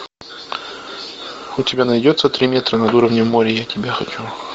у тебя найдется три метра над уровнем моря я тебя хочу